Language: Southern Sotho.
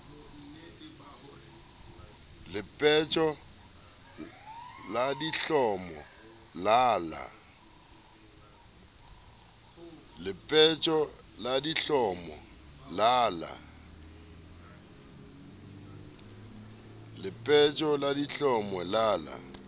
lepetjo la dihlomo la la